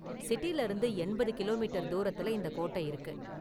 சிட்டில இருந்து எண்பது கிலோமீட்டர் தூரத்துல இந்த கோட்ட இருக்கு.